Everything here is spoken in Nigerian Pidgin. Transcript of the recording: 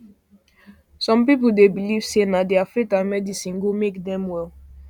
some people dey belief say na their faith and medicine go make dem well